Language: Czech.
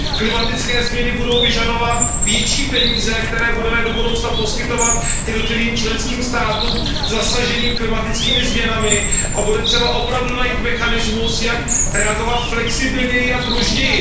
Klimatické změny budou vyžadovat větší peníze, které budeme do budoucna poskytovat jednotlivým členským státům zasaženým klimatickými změnami, a bude třeba opravdu najít mechanismus, jak reagovat flexibilněji a pružněji.